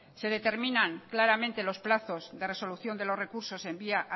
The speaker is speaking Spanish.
se determinan claramente los plazos de resolución de los recursos en vía